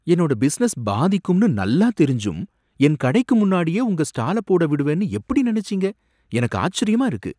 என்னோட பிசினஸ் பாதிக்கும்னு நல்லா தெரிஞ்சும் என் கடைக்கு முன்னாடியே உங்க ஸ்டால போட விடுவேன்னு எப்படி நினைச்சீங்க, எனக்கு ஆச்சரியமா இருக்கு.